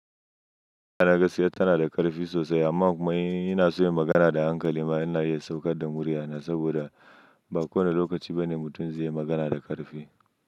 Yana gaskiya, tana da ƙarfi sosai amma kuma in yana so yayi magana da hankali. Amma ina iya saukar da murya saboda ba kowane lokaci ba ne mutum zai magana da ƙarfi.